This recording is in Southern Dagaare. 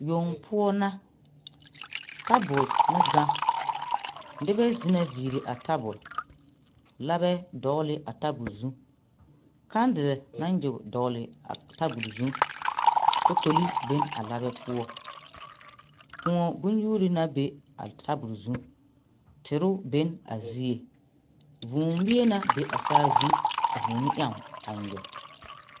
Soɡya ane polisiri bayi ka a porisiri su ba kaayasɔɔlɔ a eŋ ba nɔɔte sɔɔlɔ ka a soɡya are a pɔne o malfakpoŋ sɔɔlaa kyɛ tuuri nyoboori bontuuri kyɛ ka a porisi lɔpelaa na are ba puoriŋ.